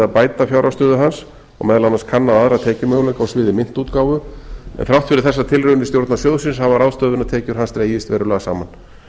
bæta fjárhagsstöðu hans og meðal annars kannað aðra tekjumöguleika á sviði myntútgáfu en þrátt fyrir þessar tilraunir stjórnar sjóðsins hafa ráðstöfunartekjur hans dregist verulega saman